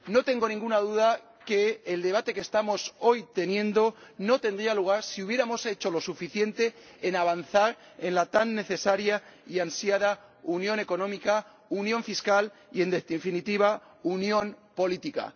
No tengo ninguna duda de que el debate que estamos celebrando hoy no tendría lugar si hubiéramos hecho lo suficiente para avanzar en la tan necesaria y ansiada unión económica, unión fiscal y, en definitiva, unión política.